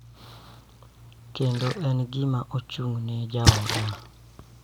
Kendo en gima ochung�ne jaoda,